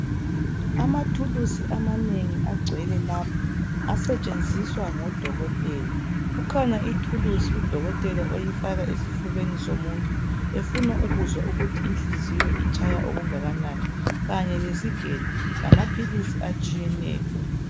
Amathulusi amanengi agcwela lapha asetshenziswa ngodokotela kukhona ithulusi udokotela oyifaka esifubeni somuntu efuna ukuzwa ukuthi inhliziyo itshaya okungakanani kanye lesigelo lama philisi atshiyeneyo.